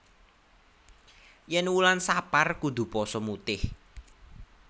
Yen wulan sapar kudu poso mutih